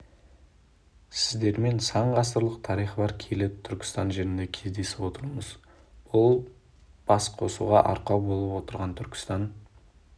сіздермен сан ғасырлық тарихы бар киелі түркіітан жерінде кездесіп отырмыз бұл басқосуға арқау болып отырған түркістан